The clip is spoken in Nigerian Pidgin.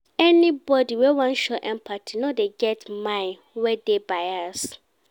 Anybodi wey wan show empathy no dey get mind wey dey bias.